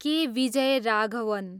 के. विजयराघवन